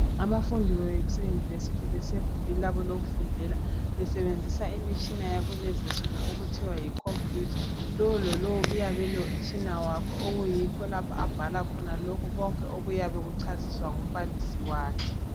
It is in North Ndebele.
Abafundi baseyunivesithi besegumbini labo lokufundela besebenzisa imitshina yakulezi insuku okuthiwa yi computer lo lalowo uyabe elomtshina wakhe okuyikho lapho abhala khona konke okuyabe kuchasiswa ngumbalisi wakhe.